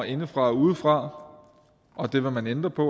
indefra og udefra og det vil man ændre på